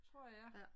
Tror jeg